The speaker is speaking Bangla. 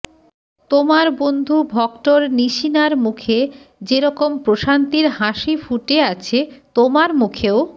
তোমার বন্ধু ভক্টর নিশিনার মুখে যেরকম প্রশান্তির হাসি ফুটে আছে তোমার মুখেও